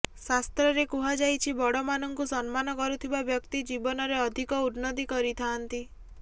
ଶାସ୍ତ୍ରରେ କୁହାଯାଇଛି ବଡ଼ମାନଙ୍କୁ ସମ୍ମାନ କରୁଥିବା ବ୍ୟକ୍ତି ଜୀବନରେ ଅଧିକ ଉନ୍ନତି କରିଥାଆନ୍ତି